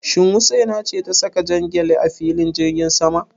Shin Husaina ce ta saka jan gyale a filin jirgin sama?